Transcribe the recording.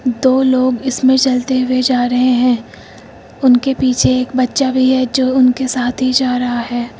दो लोग इसमें चलते हुए जा रहे हैं उनके पीछे एक बच्चा भी है जो उनके साथ ही जा रहा है।